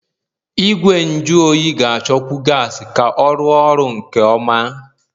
Igwe nju oyi ga-achọkwu gas ka ọ rụọ ọrụ nke ọma.